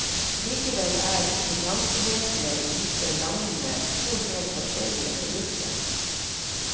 Likevel er finansvesenet i disse landene to helt forskjellige produkter.